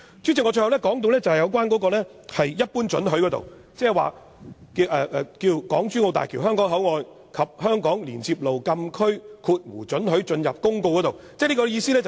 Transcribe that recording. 主席，最後我要說一般性許可，這涉及《港珠澳大橋香港口岸及香港連接路禁區公告》。